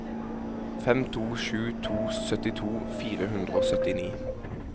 fem to sju to syttito fire hundre og syttini